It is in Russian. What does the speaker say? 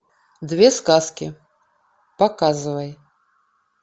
две сказки показывай